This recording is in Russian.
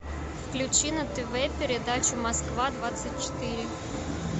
включи на тв передачу москва двадцать четыре